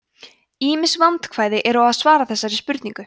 ýmis vandkvæði eru á að svara þessari spurningu